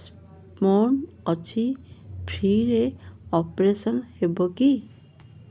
stone ଅଛି free ରେ operation ହେବ କି